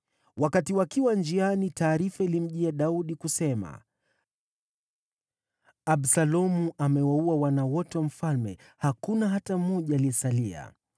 Wakati wakiwa njiani, taarifa ilimjia Daudi, kusema: “Absalomu amewaua wana wote wa mfalme; hakuna hata mmoja aliyesalia.”